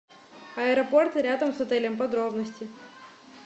аэропорты рядом с отелем подробности